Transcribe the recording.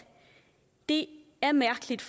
det er mærkeligt